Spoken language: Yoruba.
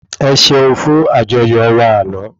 Ẹ ṣeun fún àjọyọ̀ wa àná